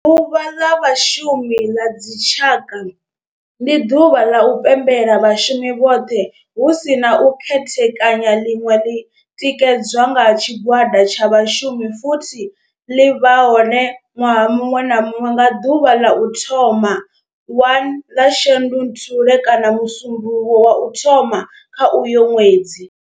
Ḓuvha ḽa Vhashumi ḽa dzi tshaka, ndi duvha ḽa u pembela vhashumi vhothe hu si na u khethekanya ḽine ḽi tikedzwa nga tshigwada tsha vhashumi futhi ḽi vha hone nwaha munwe na munwe nga duvha ḽa u thoma 1 ḽa Shundunthule kana musumbulowo wa u thoma kha uyo ṅwedzi.